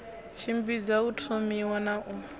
tshimbidza u thomiwa na u